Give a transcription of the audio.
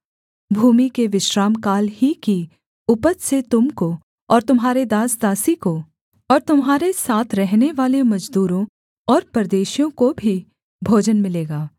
भूमि के विश्रामकाल ही की उपज से तुम को और तुम्हारे दासदासी को और तुम्हारे साथ रहनेवाले मजदूरों और परदेशियों को भी भोजन मिलेगा